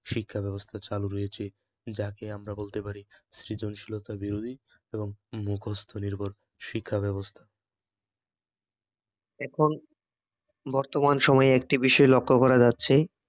শিক্ষাব্যবস্থা চালু রয়েছে যাকে আমরা বলতে পারি সৃজনশীলতা বিরোধী এবং মুখস্ত নির্ভর শিক্ষাব্যবস্থা এখন বর্তমান সময়ে একটি বিষয় লক্ষ্য করা যাচ্ছে